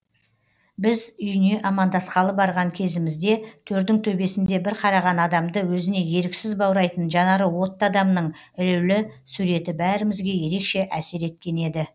біз үйіне амандасқалы барған кезімізде төрдің төбесінде бір қараған адамды өзіне еріксіз баурайтын жанары отты адамның ілулі суреті бәрімізге ерекше әсер еткен еді